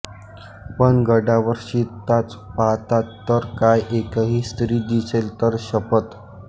पण गडावर शिरताच पाहतात तर काय एकही स्त्री दिसेल तर शपथ